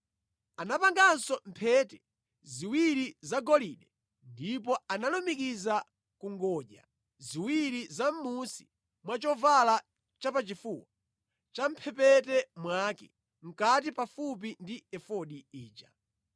Anapanganso mphete ziwiri zagolide ndipo analumikiza ku ngodya ziwiri zamʼmunsi mwa chovala chapachifuwa, champhepete mwake, mʼkati pafupi ndi efodi ija.